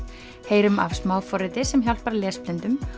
heyrum af smáforriti sem hjálpar lesblindum